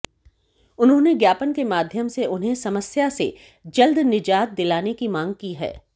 उन्होंने ज्ञापन के माध्यम से उन्हें समस्या से जल्द निजात दिलाने की मांग की है